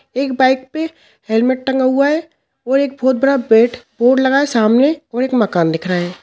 एक बाइक पे हेलमेट टंगा हुआ है और एक बहोत बड़ा बेट बोर्ड लगा है सामने और एक मकान दिख रहा है।